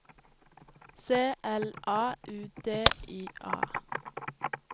C L A U D I A